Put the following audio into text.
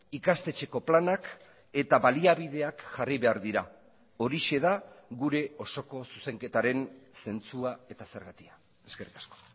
ikastetxeko planak eta baliabideak jarri behar dira horixe da gure osoko zuzenketaren zentzua eta zergatia eskerrik asko